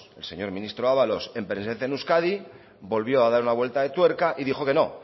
el señor ministro ábalos en presencia en euskadi volvió a dar una vuelta de tuerca y dijo que no